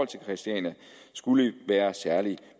til christiania skulle være særligt